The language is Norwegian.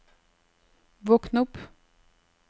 våkn opp